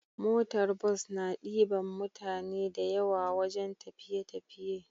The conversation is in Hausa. Motar bus na diban mutane da yawa wajan tafiye tafiye